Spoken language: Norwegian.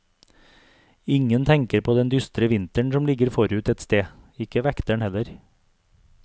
Ingen tenker på den dystre vinteren som ligger forut et sted, ikke vekteren heller.